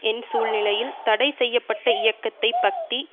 என் சூழ்நிலையில் தடை செய்ய பட்ட இயக்கத்தை பத்தி